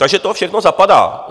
Takže to všechno zapadá.